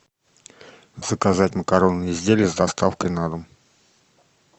заказать макаронные изделия с доставкой на дом